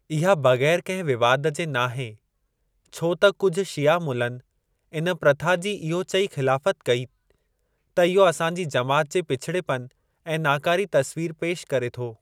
इहा बगै़र कहिं विवाद जे नाहे छो त कुझ शिया मुलनि इन प्रथा जी इहो चई ख़िलाफ़त कई त "इहो असांजी जमात जे पिछड़ेपन ऐं नाकारी तस्‍वीर पेश करे थो"।